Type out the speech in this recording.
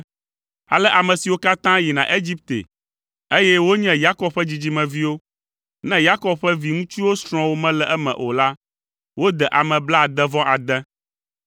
Ale ame siwo katã yina Egipte, eye wonye Yakob ƒe dzidzimeviwo, ne Yakob ƒe viŋutsuwo srɔ̃wo mele eme o la, wode ame blaade-vɔ-ade.